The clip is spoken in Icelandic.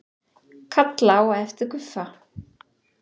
Kalla á eftir Guffa.